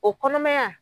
O kɔnɔmaya